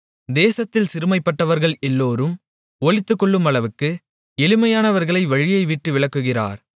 தேசத்தில் சிறுமைப்பட்டவர்கள் எல்லோரும் ஒளித்துக்கொள்ளுமளவுக்கு எளிமையானவர்களை வழியை விட்டு விலக்குகிறார்கள்